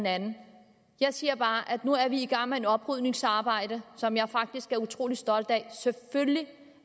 andet jeg siger bare at nu er vi i gang med et oprydningsarbejde som jeg faktisk er utrolig stolt af selvfølgelig